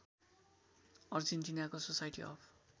अर्जेन्टिनाको society of